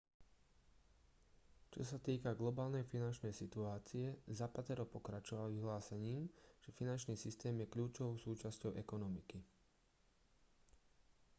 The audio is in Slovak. čo sa týka globálnej finančnej situácie zapatero pokračoval vyhlásením že finančný systém je kľúčovou súčasťou ekonomiky